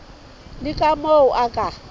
le ka moo o ka